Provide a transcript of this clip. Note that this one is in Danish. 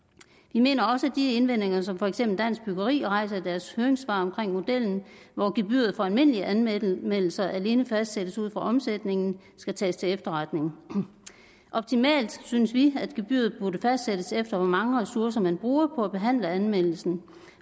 vi mener også at de indvendinger som for eksempel dansk byggeri rejser i deres høringssvar mod modellen hvor gebyret for almindelige anmeldelser alene fastsættes ud fra omsætningen skal tages til efterretning optimalt set synes vi at gebyret burde fastsættes efter hvor mange ressourcer man bruger på at behandle anmeldelsen